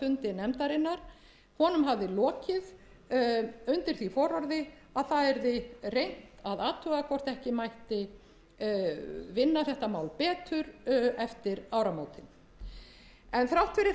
fundi nefndarinnar honum hafði lokið undir því fororði að það yrði reynt að athuga hvort ekki mætti vinna þetta mál betur eftir áramótin en þrátt fyrir